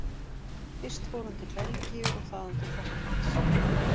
Fyrst fór hann til Belgíu og þaðan til Frakklands.